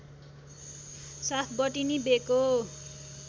साथ बटनी बेको